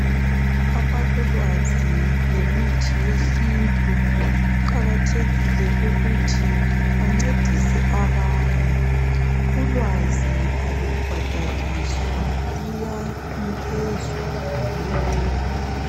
Abalolwazi ngemithi yesintu kuqakathekile ukuthi bancedise abanye. Ulwazi alubhadaliswa luyanikezwa lula.